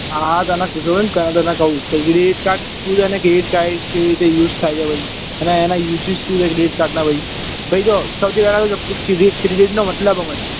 હા હા તને કીધું ને તને કઉં તે credit card શું છે ને કેવી રીતે કેવી રીતે use થાય ને ભઈ અને એના uses શું છે credit card ના ભાઈ અહીં જો સૌથી પેહલા તું credit credit નો મતલબ સમજ